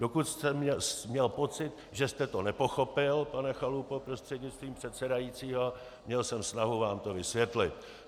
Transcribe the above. Dokud jsem měl pocit, že jste to nepochopil, pane Chalupo prostřednictvím předsedajícího, měl jsem snahu vám to vysvětlit.